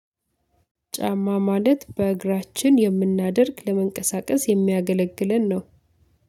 ጫማ ማለት በእግራችን የምናደርግ ለመንቀሳቀስ የሚያገለግለን ነው።